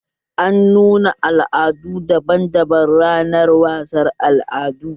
An nuna al'adu daban daban ranar wasar al'adu